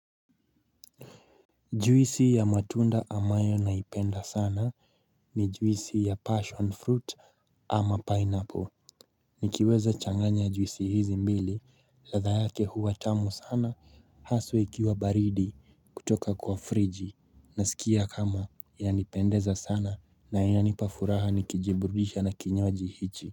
Juisi ya matunda amayo naipenda sana ni juisi ya passion fruit ama pineapple Nikiweza changanya juisi hizi mbili ladha yake huwa tamu sana haswa ikiwa baridi kutoka kwa friji Nasikia kama inanipendeza sana na inanipafuraha nikijibrudisha na kinywaji hichi.